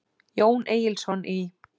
Jón Egilsson í